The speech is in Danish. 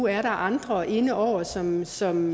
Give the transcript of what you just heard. er andre inde over som som